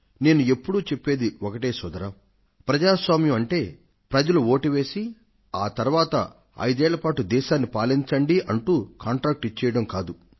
నేను ఎప్పుడూ చెప్పేది ఒక్కటే సోదరా ప్రజాస్వామ్యం అంటే ప్రజలు వోటు వేసి ఆ తరువాత ఐదేళ్ల పాటు పాలించండి అంటూ కాంట్రాక్టు ఇచ్చేయడం కాదు